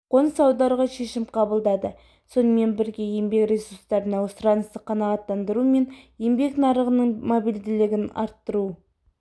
қоныс аударуға шешім қабылдады сонымен бірге еңбек ресурстарына сұранысты қанағаттандыру мен еңбек нарығының мобильділігін арттыру